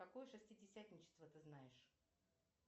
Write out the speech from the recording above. какое шестидесятничество ты знаешь